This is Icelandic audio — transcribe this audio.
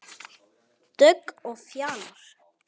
Dögg og Fjalar.